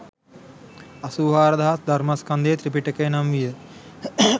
අසූ හාරදහසක් ධර්මස්කන්ධය ත්‍රිපිටකය නම් විය